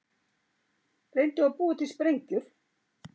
Reyndu að búa til sprengjur